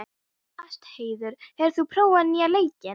Ástheiður, hefur þú prófað nýja leikinn?